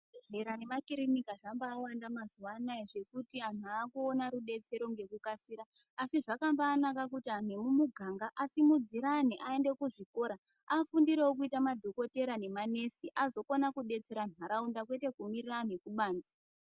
Zvibhedhlera nemakiriniki zvawanda mazuva anaya nekuti antu akuona rubetsero nekukasira asi zvakambanaka kuti antu emumiganga asimudzirane aende kuzvikora afundirewo kuita madhokotera nanesi azokona kubetsera ntaraunda kwete kumirira antu ekubanze.